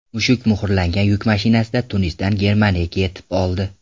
Mushuk muhrlangan yuk mashinasida Tunisdan Germaniyaga yetib oldi.